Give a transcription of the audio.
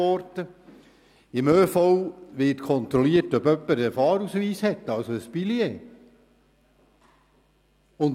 Dort wird kontrolliert, ob jemand einen Fahrausweis, also ein Billet hat.